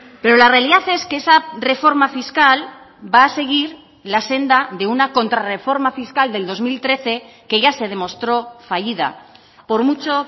pero la realidad es que esa reforma fiscal va a seguir la senda de una contra reforma fiscal del dos mil trece que ya se demostró fallida por mucho